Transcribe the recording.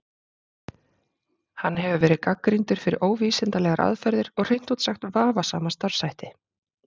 Hann hefur verið gagnrýndur fyrir óvísindalegar aðferðir og hreint út sagt vafasama starfshætti.